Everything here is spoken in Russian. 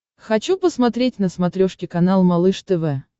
хочу посмотреть на смотрешке канал малыш тв